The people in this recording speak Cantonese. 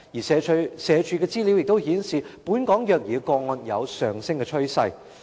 社會福利署資料亦顯示，本港虐兒個案有上升趨勢。